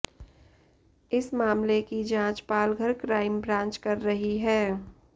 इस मामले की जांच पालघर क्राइम ब्रांच कर रही है